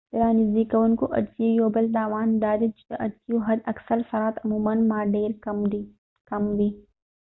د رانژدې کوونکو عدسیو یو بل تاوان دادی چې د عدسیو حد اکثر سرعت عموما ډیر کم وي